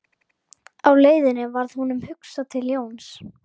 Á leiðinni varð honum hugsað til Jóns